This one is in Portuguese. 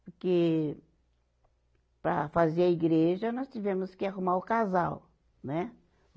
Porque para fazer a igreja nós tivemos que arrumar o casal, né?